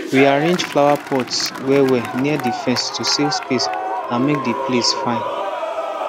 we arrange flowerpots wellwell near the fence to save space and make the place fine